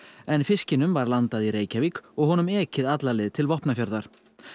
en fiskinum var landað í Reykjavík og honum ekið alla leið til Vopnafjarðar